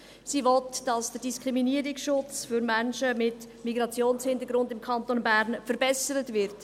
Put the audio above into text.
Sie will, dass der Diskriminierungsschutz für Menschen mit Migrationshintergrund im Kanton Bern verbessert wird.